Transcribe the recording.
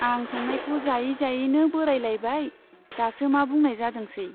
आं संनायखौ जायै जायैनो बोराइलायबाय, दासो मा बुंनाय जादोंसै ,